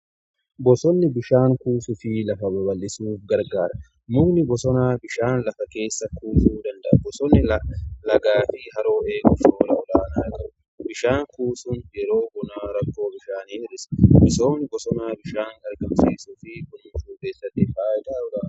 bosonni bishaan kuusuu fi lafa baba'isuuf gargaara mukni bosonaa bishaan lafa keessa kuusuu danda'a bosonni lagaa fi harooleee eeguuf gahee olaanaa qabu. bishaan kuusuun yeroo bonaa rakkoo bishaanii hir'isa. misoomni bosonaa bishaan argamsiisuufi kunuunsuu keessatti fayidaa olaanaa qaba.